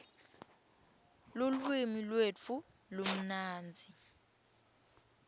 lulwimi lwetfu lumnandzi